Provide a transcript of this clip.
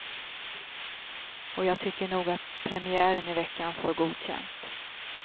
Och jag tycker nog att premiären i veckan får godkänt.